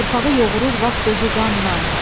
Torpağı yoğurur vaxt özü qanla.